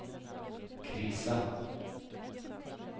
krisa